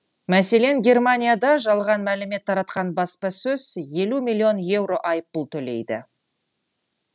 мәселен германияда жалған мәлімет таратқан баспасөз елу миллион еуро айппұл төлейді